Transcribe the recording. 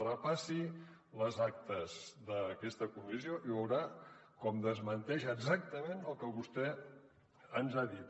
repassi les actes d’aquesta comissió i veurà com desmenteix exactament el que vostè ens ha dit